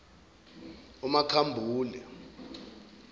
umakhambule